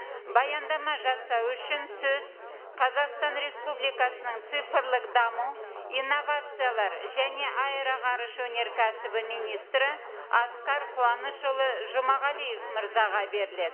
баяндама жасау үшін сөз қазақстан республикасының цифрлық даму инновациялар және аэроғарыш өнеркәсібі министрі асқар қуанышұлы жұмағалиев мырзаға беріледі